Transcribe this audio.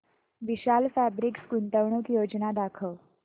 विशाल fabrics गुंतवणूक योजना दाखव